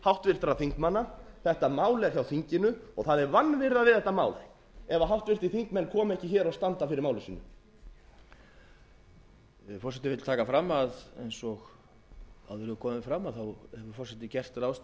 háttvirtra þingmanna þetta mál er hjá þinginu og það er vanvirða við þetta mál ef háttvirtir þingmenn koma ekki hér og standa fyrir máli sínu forseti vill taka fram að eins og áður hefur komið fram hefur forseti gert ráðstafanir til þess